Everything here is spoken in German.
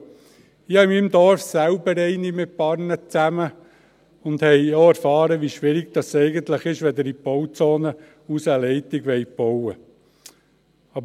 Ich habe in meinem Dorf selber eine, mit ein paar anderen zusammen, und wir haben auch erfahren, wie schwierig es eigentlich ist, wenn Sie eine Leitung in die Bauzone hinaus bauen wollen.